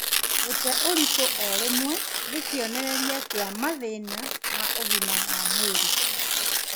Gũte ũritũ o rĩmwe nĩ kĩonereria kĩa mathĩna ma ũgima wa mwĩrĩ